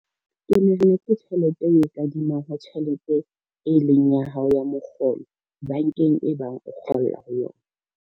Ke nahana ke tjhelete e o kadimang ho tjhelete e leng ya hao ya mokgolo bankeng e bang o kgolla ho yona.